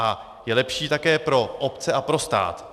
A je lepší také pro obce a pro stát.